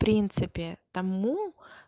в принципе тому